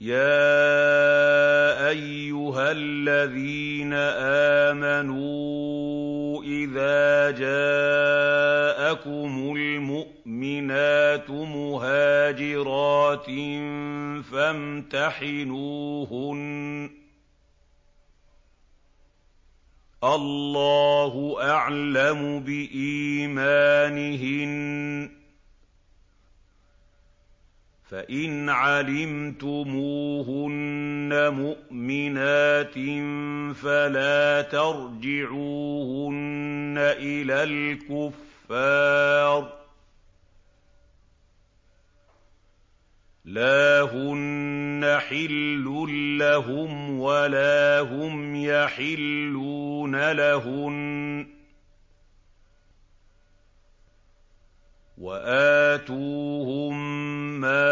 يَا أَيُّهَا الَّذِينَ آمَنُوا إِذَا جَاءَكُمُ الْمُؤْمِنَاتُ مُهَاجِرَاتٍ فَامْتَحِنُوهُنَّ ۖ اللَّهُ أَعْلَمُ بِإِيمَانِهِنَّ ۖ فَإِنْ عَلِمْتُمُوهُنَّ مُؤْمِنَاتٍ فَلَا تَرْجِعُوهُنَّ إِلَى الْكُفَّارِ ۖ لَا هُنَّ حِلٌّ لَّهُمْ وَلَا هُمْ يَحِلُّونَ لَهُنَّ ۖ وَآتُوهُم مَّا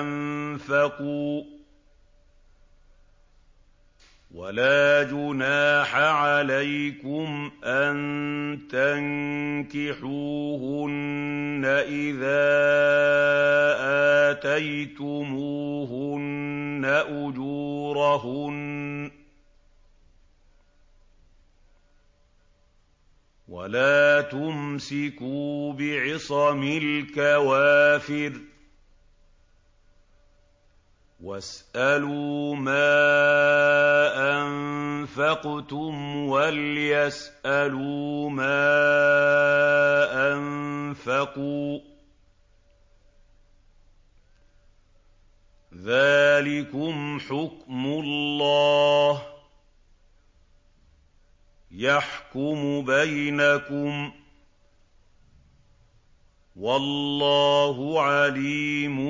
أَنفَقُوا ۚ وَلَا جُنَاحَ عَلَيْكُمْ أَن تَنكِحُوهُنَّ إِذَا آتَيْتُمُوهُنَّ أُجُورَهُنَّ ۚ وَلَا تُمْسِكُوا بِعِصَمِ الْكَوَافِرِ وَاسْأَلُوا مَا أَنفَقْتُمْ وَلْيَسْأَلُوا مَا أَنفَقُوا ۚ ذَٰلِكُمْ حُكْمُ اللَّهِ ۖ يَحْكُمُ بَيْنَكُمْ ۚ وَاللَّهُ عَلِيمٌ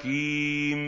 حَكِيمٌ